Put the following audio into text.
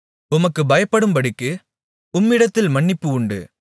உமக்குப் பயப்படும்படிக்கு உம்மிடத்தில் மன்னிப்பு உண்டு